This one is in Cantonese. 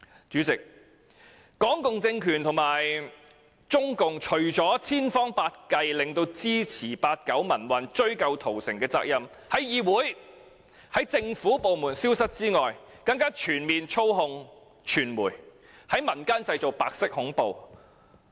主席，港共政權和中共除了千方百計令支持八九民運，追究屠城責任的行為，不再在議會和政府部門出現外，更全面操控傳媒，在民間製造白色恐怖。